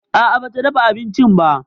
A'a ba ta dafa abincin ba.